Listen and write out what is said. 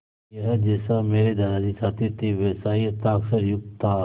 यह जैसा मेरे दादाजी चाहते थे वैसा ही हस्ताक्षरयुक्त था